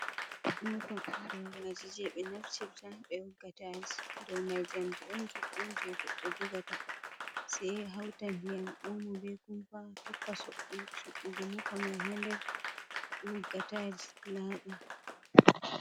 Moopa gaaraaji jey ɓe naftita ɓe wogga taayis dow mai njamdi on juuɗɗum jey goɗɗo jogata sey hawta ndiyam oomo bee kumpa tokka suɓɓugo moopa mai ndem wogga taayis laaɓa.